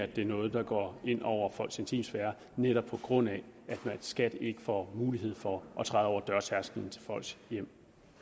det er noget der går ind over folks intimsfære netop på grund af at skat ikke får mulighed for at træde over dørtærskelen til folks hjem